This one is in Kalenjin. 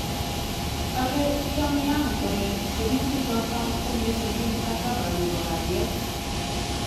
Kale Pyongyang kole tiemutik choto komesubi mkataba nebo kalyet